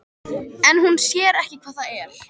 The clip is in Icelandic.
En hún sér ekki hvað það er.